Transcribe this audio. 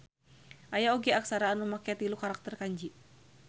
Aya oge aksara anu make tilu karakter kanji